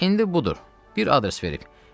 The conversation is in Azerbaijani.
İndi budur, bir adres verib.